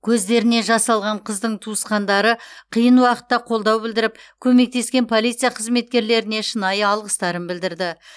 көздеріне жас алған қыздың туысқандары қиын уақытта қолдау білдіріп көмектескен полиция қызметкерлеріне шынайы алғыстарын білдірді